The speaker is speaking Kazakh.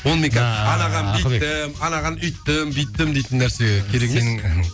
оны мен қазір анаған бүйттім анаған үйттім бүйттім дейтін нәрсе керек емес